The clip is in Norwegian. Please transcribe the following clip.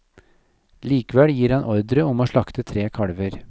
Likevel gir han ordre om å slakte tre kalver.